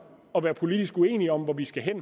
at være politisk uenige om hvor vi skal hen